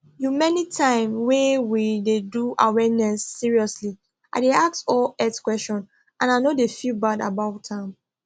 umanytime wey we dey do awareness seriously i dey ask all health question and i no dey feel bad about am